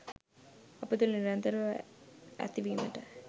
අප තුළ නිරන්තරව ඇතිවීමට